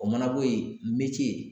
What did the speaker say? O mana bɔ yen